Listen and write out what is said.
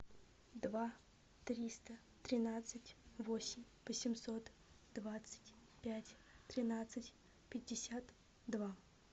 два триста тринадцать восемь восемьсот двадцать пять тринадцать пятьдесят два